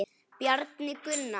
Bjarni Gunnar.